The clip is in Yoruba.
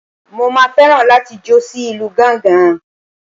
Mo máa fẹ́ràn láti jó sí ìlú gángan.